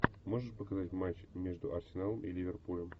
можешь показать матч между арсеналом и ливерпулем